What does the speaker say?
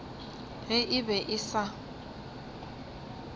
ge e be e sa